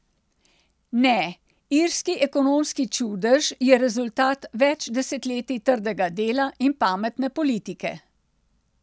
Ne, irski ekonomski čudež je rezultat več desetletij trdega dela in pametne politike.